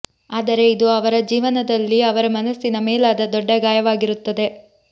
ಆದರೆ ಇದು ಅವರ ಜೀವನದಲ್ಲಿ ಅವರ ಮನಸ್ಸಿನ ಮೇಲಾದ ದೊಡ್ಡ ಗಾಯವಾಗಿರುತ್ತದೆ